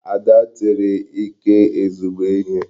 Ada tiri Ike ezigbo ihe.